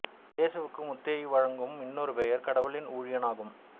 இயேசுவுக்கு மத்தேயு வழங்கும் இன்னொரு பெயர் கடவுளின் ஊழியன் என்பதாகும்